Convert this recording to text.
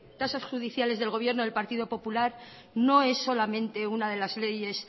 tasas judiciales del gobierno del partido popular no es solamente una de las leyes